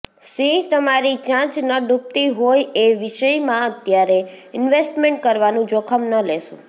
સિંહઃ તમારી ચાંચ ન ડૂબતી હોય એ વિષયમાં અત્યારે ઈન્વેસ્ટમેન્ટ કરવાનું જોખમ ન લેશો